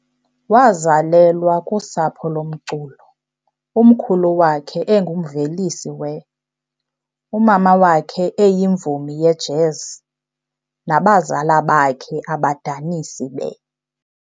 Wazelelwa kusapho lomculo, umkhulu wakhe engumvelisi we, umama wakhe eyimvumi yejazz, nabazela bakhe abadanisi be.